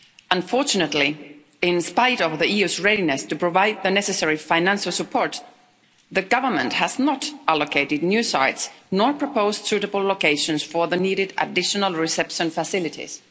Unfortunately, in spite of the EU's readiness to provide the necessary financial support, the government has not allocated new sites nor proposed suitable locations for the needed additional reception facilities.